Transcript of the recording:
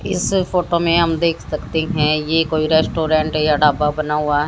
इस फोटो में हम देख सकते है ये कोई रेस्टोरेंट या ढाबा बना हुआ है।